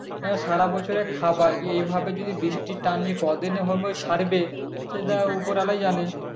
সারা বছরের খাবার এভাবে বৃষ্টির টান যে কয়দিনে ছাড়বে সেটা উপরওয়ালাই জানে